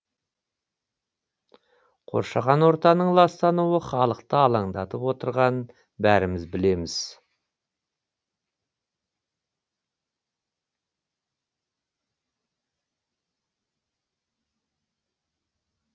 қоршаған ортаның ластануы халықты алаңдатып отырғанын бәріміз білеміз